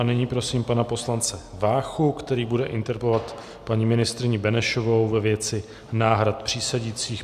A nyní prosím pana poslance Váchu, který bude interpelovat paní ministryni Benešovou ve věci náhrad přísedících.